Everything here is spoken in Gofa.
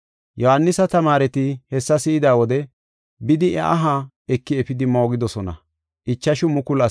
Yohaanisa tamaareti hessa si7ida wode bidi iya aha eki efidi moogidosona.